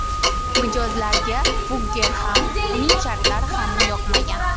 Mijozlarga Fugger ham, uning shartlari ham yoqmagan.